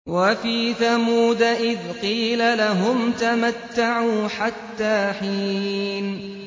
وَفِي ثَمُودَ إِذْ قِيلَ لَهُمْ تَمَتَّعُوا حَتَّىٰ حِينٍ